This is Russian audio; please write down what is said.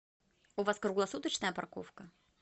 у вас круглосуточная парковка